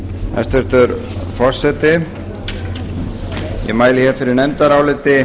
hæstvirtur forseti ég mæli fyrir nefndaráliti